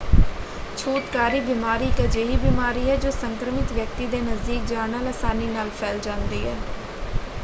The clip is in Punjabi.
ਛੂਤਕਾਰੀ ਬਿਮਾਰੀ ਇੱਕ ਅਜਿਹੀ ਬਿਮਾਰੀ ਹੈ ਜੋ ਸੰਕਰਮਿਤ ਵਿਅਕਤੀ ਦੇ ਨਜ਼ਦੀਕ ਜਾਣ ਨਾਲ ਅਸਾਨੀ ਨਾਲ ਫੈਲ ਜਾਂਦੀ ਹੈ।